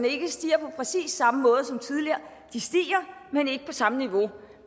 ikke stiger på præcis sammen måde som tidligere de stiger men ikke på samme niveau